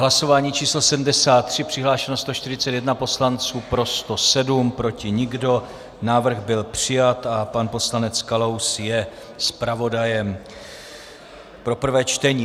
Hlasování číslo 73, přihlášeno 141 poslanců, pro 107, proti nikdo, návrh byl přijat a pan poslanec Kalous je zpravodajem pro prvé čtení.